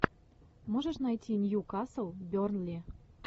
можешь найти ньюкасл бернли